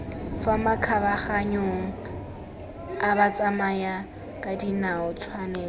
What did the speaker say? fa makgabaganyong a batsamayakadinao tshwanelo